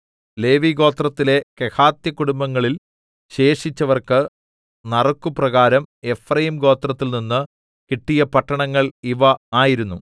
ലേവിഗോത്രത്തിലെ കെഹാത്യകുടുംബങ്ങളിൽ ശേഷിച്ചവർക്ക് നറുക്കുപ്രകാരം എഫ്രയീം ഗോത്രത്തിൽനിന്ന് കിട്ടിയ പട്ടണങ്ങൾ ഇവ ആയിരുന്നു